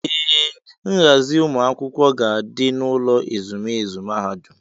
Ee, nghazi ụmụ akwụkwọ ga-adị n'ụlọ ezumezu mahadum.